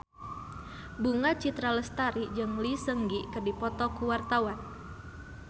Bunga Citra Lestari jeung Lee Seung Gi keur dipoto ku wartawan